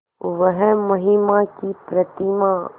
वह महिमा की प्रतिमा